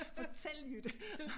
Fortæl Jytte